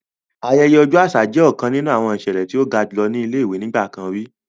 Ayẹyẹ ọjọ aṣa jẹ ọkan ninu awọn iṣẹlẹ ti o ga julọ ni awọn ile-iwe nigbakan ri.